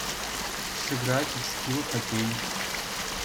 сыграть в скилл хоккей